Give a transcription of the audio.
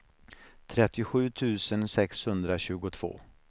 trettiosju tusen sexhundratjugotvå